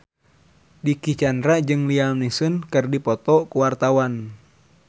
Dicky Chandra jeung Liam Neeson keur dipoto ku wartawan